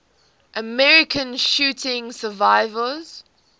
american shooting survivors